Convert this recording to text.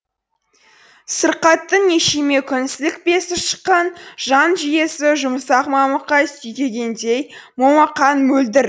сырқаттың нешеме күн сілікпесі шыққан жан жүйесі жұмсақ мамыққа сүйкегендей момақан мөлдір